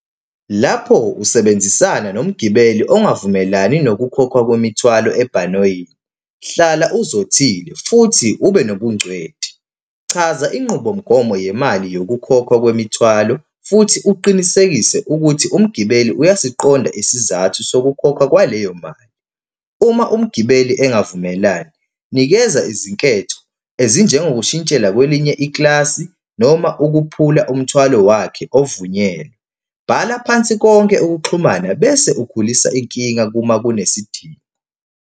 Lapho usebenzisana nomgibeli ongavumelani nokukhokhwa kwemithwalo ebhanoyini, hlala uzothile futhi ube nobungcweti. Chaza inqubomgomo yemali yokukhokhwa kwemithwalo futhi uqinisekise ukuthi umgibeli uyasiqonda isizathu sokukhokhwa kwaleyo mali. Uma umgibeli engavumelani, nikeza izinketho ezinjengokushintshela kwelinye ikilasi noma ukuphula umthwalo wakhe ovunyelwe. Bhala phansi konke ukuxhumana bese ukhulisa inkinga uma kunesidingo.